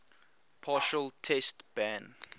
partial test ban